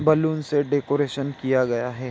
Balloon से decoration किया गया हे।